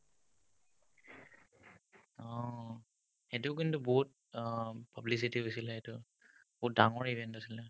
অ, সেটো কিন্তু বহুত অ publicity হৈছিলে এইটো বহুত ডাঙৰ event আছিলে